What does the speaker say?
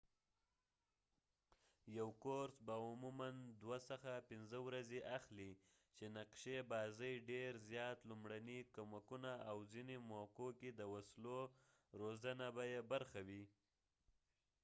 یو کورس به عموماً 2-5 ورځې اخلي چې نقشي بازۍ ډېر زیات لومړني کمکونه او ځنه موقعو کې د وسلو روزنه به يې برخه وي